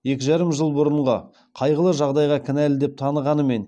екі жарым жыл бұрынғы қайғылы жағдайға кінәлі деп танығанымен